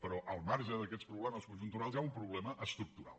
però al marge d’aquests problemes conjunturals hi ha un problema estructural